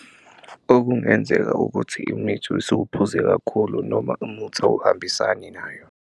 Okungenzeka ukuthi imithi usuke uphuze kakhulu noma umuthi awuhambisani nayo.